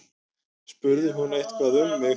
Spurði hún eitthvað um mig?